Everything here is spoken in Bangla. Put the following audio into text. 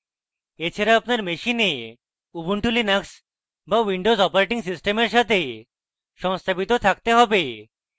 এছাড়াও আপনার machine ubuntu linux বা windows operating system সাথে সংস্থাপিত থাকতে have